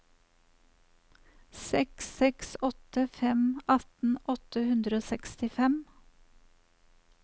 seks seks åtte fem atten åtte hundre og sekstifem